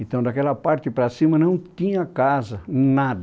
Então daquela parte para cima não tinha casa, nada.